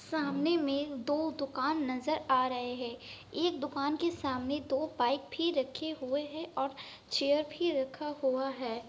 सामने में दो दुकान नजर आ रहे हैं। एक दुकान के सामने दो बाइक भी रखे हुए हैं और चेयर भी रखा हुआ हैं।